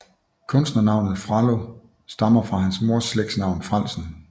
Kunstnernavnet Frello stammer fra hans mors slægtsnavn Frellsen